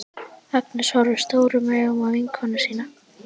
Agnes horfir stórum augum á vinkonu sína.